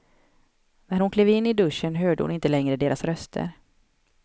När hon klev in i duschen hörde hon inte längre deras röster.